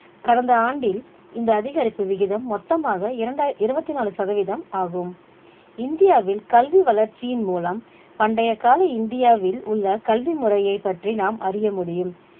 கடந்த ஆண்டில் இந்த அதிகரிப்பு விகிதம் மொத்தமாக இரண்டய்~ இருபத்தி நாலு சதவீதம் ஆகும் இந்தியாவில் கல்வி வளர்ச்சியின் மூலம் பண்டைய கால இந்தியாவில் உள்ள கல்வி முறைய பற்றி நாம் அறிய முடியும்